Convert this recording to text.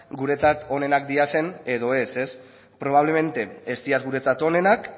guretzat onenak diren edo ez ez probablemente ez dira guretzat onenak